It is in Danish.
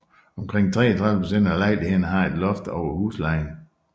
Omkring 33 procent af lejlighederne har et loft over huslejen